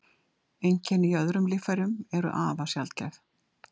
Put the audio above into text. Einkenni í öðrum líffærum eru afar sjaldgæf.